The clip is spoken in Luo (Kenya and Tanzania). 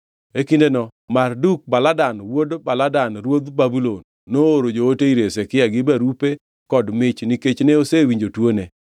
E kindeno Marduk-Baladan wuod Baladan ruodh Babulon nooro joote ir Hezekia gi barupe kod mich nikech ne osewinjo tuone.